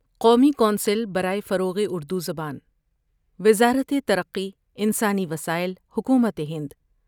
قومی کونسل برائے فروغ اردو زبان وزارت ترقی انسانی وسائل ، حکومت ہند